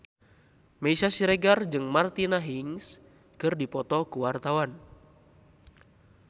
Meisya Siregar jeung Martina Hingis keur dipoto ku wartawan